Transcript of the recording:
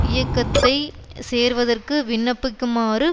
இயக்கத்தை சேர்வதற்கு விண்ணப்பிக்குமாறு